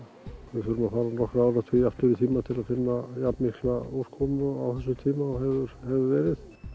við þurfum að fara nokkra áratugi aftur í tímann til að finna jafnmikla úrkomu á þessum tíma og hefur verið